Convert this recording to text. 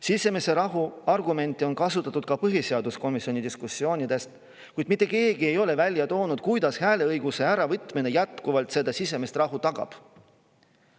Sisemise rahu argumenti on kasutatud ka põhiseaduskomisjoni diskussioonides, kuid mitte keegi ei ole välja toonud, kuidas hääleõiguse äravõtmine jätkuvalt seda sisemist rahu tagab.